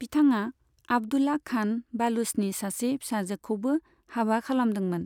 बिथाङा आब्दुल्ला खान बालुचनि सासे फिसाजोखौबो हाबा खालामदोंमोन।